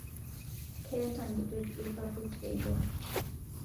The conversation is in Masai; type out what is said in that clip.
Keeta nkitok lpapit eibor